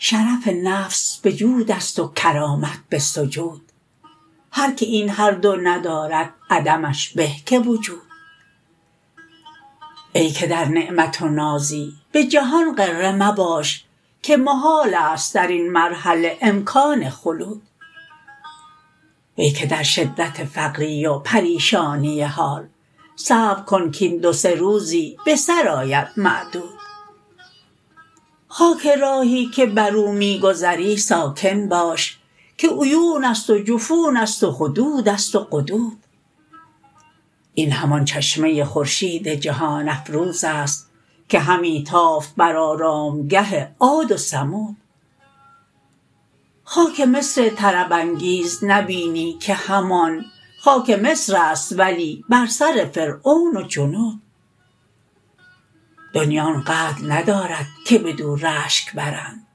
شرف نفس به جود است و کرامت به سجود هر که این هر دو ندارد عدمش به که وجود ای که در نعمت و نازی به جهان غره مباش که محال است در این مرحله امکان خلود وی که در شدت فقری و پریشانی حال صبر کن کاین دو سه روزی به سر آید معدود خاک راهی که بر او می گذری ساکن باش که عیون است و جفون است و خدود است و قدود این همان چشمه خورشید جهان افروز است که همی تافت بر آرامگه عاد و ثمود خاک مصر طرب انگیز نبینی که همان خاک مصر است ولی بر سر فرعون و جنود دنیی آن قدر ندارد که بدو رشک برند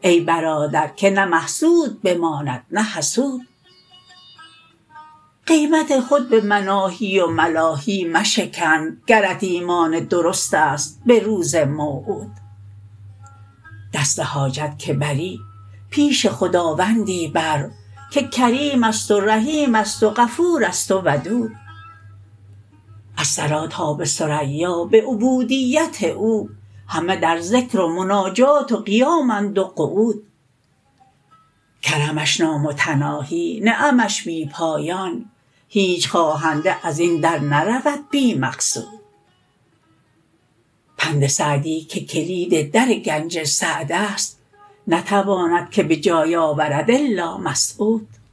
ای برادر که نه محسود بماند نه حسود قیمت خود به مناهی و ملاهی مشکن گرت ایمان درست است به روز موعود دست حاجت که بری پیش خداوندی بر که کریم است و رحیم است و غفور است و ودود از ثری تا به ثریا به عبودیت او همه در ذکر و مناجات و قیامند و قعود کرمش نامتناهی نعمش بی پایان هیچ خواهنده از این در نرود بی مقصود پند سعدی که کلید در گنج سعد است نتواند که به جای آورد الا مسعود